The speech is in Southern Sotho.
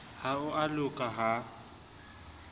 ha ho a loka ha